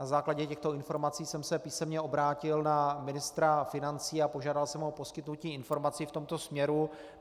Na základě těchto informací jsem se písemně obrátil na ministra financí a požádal jsem o poskytnutí informací v tomto směru.